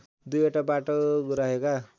२ वटा बाटो रहेका